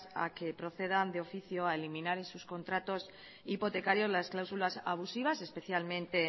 a que procedan de oficio a eliminar en sus contratos hipotecarios las cláusulas abusivas especialmente